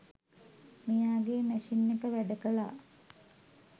මෙයාගේ මැෂින් එක වැඩකළා